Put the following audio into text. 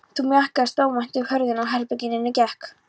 Þá mjakaðist óvænt upp hurðin að herberginu og inn gekk